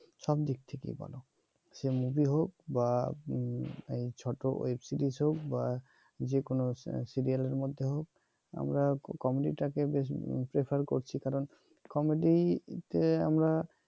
সব দিক থেকে বল যে মুভি হোক বা ছোট এই ওয়েব সিরিজ হোক বা যেকোন সিরিয়ালের মধ্যে হোক আমরা কমেডিটা কে বেশ করছি কারন কমেডিতে আমরা